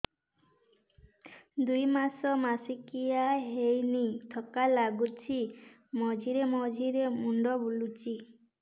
ଦୁଇ ମାସ ମାସିକିଆ ହେଇନି ଥକା ଲାଗୁଚି ମଝିରେ ମଝିରେ ମୁଣ୍ଡ ବୁଲୁଛି